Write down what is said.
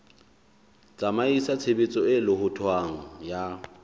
tsamaisa tshebetso e lohothwang ya